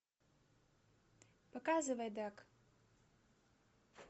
показывай даг